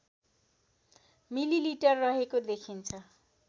millilitre रहेको देखिन्छ